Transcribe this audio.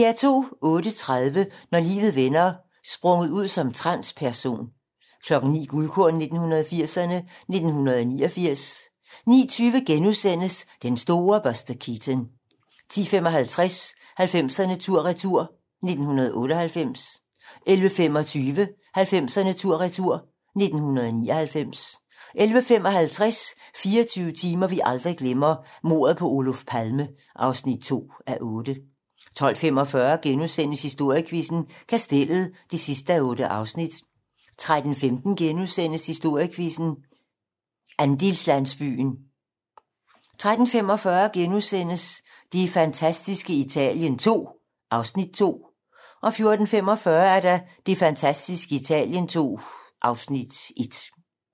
08:30: Når livet vender: Sprunget ud som transperson 09:00: Guldkorn 1980'erne: 1989 09:20: Den store Buster Keaton * 10:55: 90'erne tur-retur: 1998 11:25: 90'erne tur-retur: 1999 11:55: 24 timer, vi aldrig glemmer: Mordet på Oluf Palme (2:8) 12:45: Historiequizzen: Kastellet (8:8)* 13:15: Historiequizzen: Andelslandsbyen * 13:45: Det fantastiske Italien II (Afs. 2)* 14:45: Det fantastiske Italien II (Afs. 1)